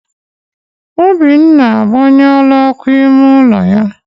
Obinna agbanyụọla ọkụ ime ụlọ ya.